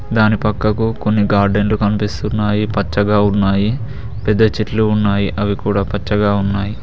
దాని పక్కకు కొన్ని గార్డెన్లు కనిపిస్తున్నాయి పచ్చగా ఉన్నాయి పెద్ద చెట్లు ఉన్నాయి అవి కూడా పచ్చగా ఉన్నాయి.